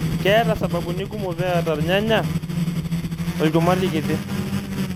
Keeta sababuni kumok peeta rnyanya olchumati kiti.